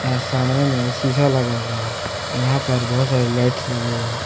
यहां सामने में शीशा लगा हुआ है यहां पर बहुत सारी लाइट्स लगे हुए हैं।